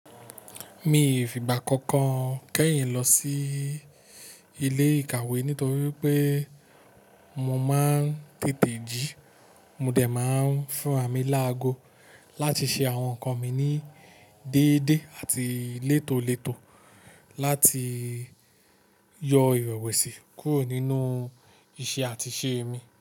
Mi ò fi igba kan kan kẹ́yìn lọ sí ilé ìkàwé nítorí pé mo máa ń tètè jí. Mo dẹ̀ máa ń fún ràmì láago láti ṣe àwọn nǹkan mi ní déédéé àti létólètó láti yọ ìrẹ̀wẹ̀sì kúrò nínú iṣẹ́ àti ṣe mi.